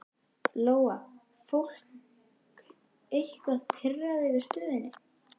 Lóa: Fólk eitthvað pirrað yfir stöðunni?